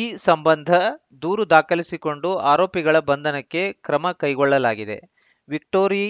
ಈ ಸಂಬಂಧ ದೂರು ದಾಖಲಿಸಿಕೊಂಡು ಆರೋಪಿಗಳ ಬಂಧನಕ್ಕೆ ಕ್ರಮಕೈಗೊಳ್ಳಲಾಗಿದೆ ವಿಕ್ಟೋರಿ